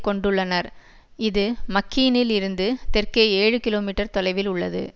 கொண்டுள்ளனர் இது மக்கீனில் இருந்து தெற்கே ஏழு கிலோ மீட்டர் தொலைவில் உள்ளது